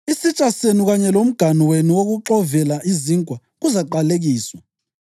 Isitsha senu kanye lomganu wenu wokuxovela izinkwa kuzaqalekiswa.